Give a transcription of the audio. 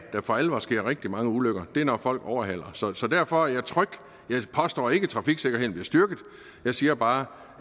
for alvor sker rigtig mange ulykker er når folk overhaler så så derfor er jeg tryg jeg påstår ikke at trafiksikkerheden bliver styrket jeg siger bare